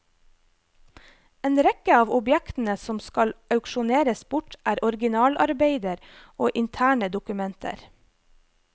En rekke av objektene som skal auksjoneres bort, er originalarbeider og interne dokumenter.